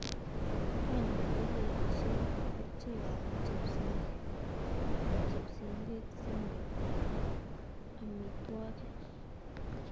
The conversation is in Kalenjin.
Konyek ko kerchek ab chepsiriret si moib ametwokik.